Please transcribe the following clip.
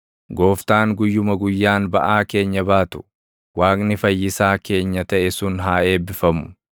Gooftaan guyyuma guyyaan baʼaa keenya baatu, Waaqni Fayyissaa keenya taʼe sun haa eebbifamu.